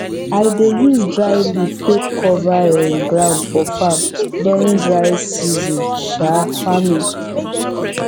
i dey use dry leaf take cover um ground for farm during dry season um farming